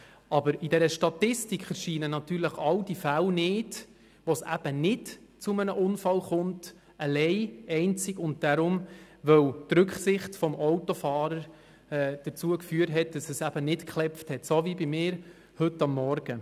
Aber in dieser Statistik erscheinen natürlich all diejenigen Fälle nicht, wo es eben einzig und alleine wegen der Rücksicht des Autofahrers zu keinem Unfall kommt, so wie bei mir heute Morgen.